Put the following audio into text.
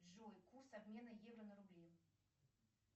джой курс обмена евро на рубли